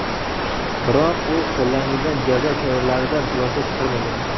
Biroq u qo‘llanilgan jazo choralaridan xulosa chiqarmagan.